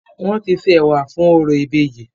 Wọ́n ti se ẹ̀wà fún orò ìbejì.